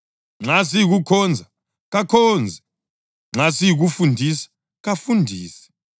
Nxa siyikukhonza, kakhonze: nxa siyikufundisa, kafundise;